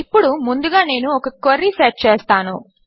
ఇప్పుడు ముందుగా నేను ఒక క్వెరీ సెట్ చేస్తాను